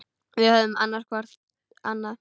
Við höfum annast hvor annan.